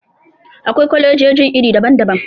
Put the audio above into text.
Akwai kwalejojin iri daban-daban.